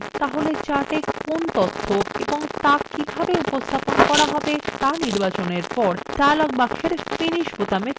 তাহলে chartএ কি তথ্য এবং so কিভাবে উপস্থাপন করা হবে so নির্বাচনের পরে dialog বক্সের finish বোতামে click করুন